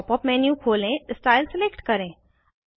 pop up menu खोलें style select करें